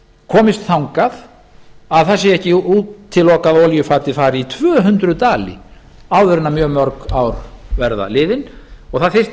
komist þangað að það sé ekki útilokað að olíufatið fari í tvö hundruð dali áður en mjög mörg ár verða liðin og það þyrfti